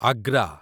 Agra